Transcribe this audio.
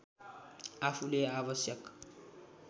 आफूले आवश्यक